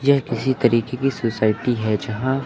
ये किसी तरीके की सोसाइटी है जहां--